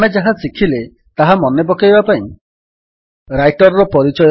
ଆମେ ଯାହା ଶିଖିଲେ ତାହା ମନେପକାଇବା ପାଇଁ ରାଇଟର୍ ର ପରିଚୟ